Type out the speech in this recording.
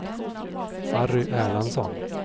Harry Erlandsson